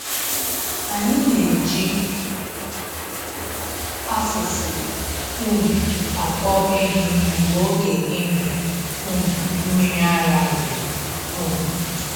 Anyị na-eji afụfụ um akpọ ehi mgbe oge ịmị um mmiri ara ruru. um